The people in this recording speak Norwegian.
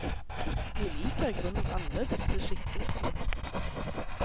Vi liker i grunnen alle disse skikkelsene.